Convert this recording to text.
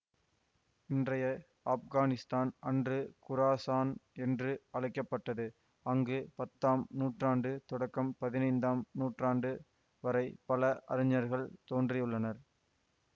இன்றய ஆப்கானித்தான் அன்று குராசான் என்று அழைக்க பட்டது அங்கு பத்தாம் நூற்றாண்டு தொடக்கம் பதினைந்தாம் நூற்றாண்டு வரை பல அறிஞர்கள் தோன்றியுள்ளனர்